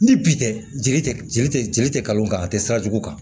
Ni bi tɛ jeli tɛ jeli tɛ jeli tɛ kalo kan a tɛ sira jugu kan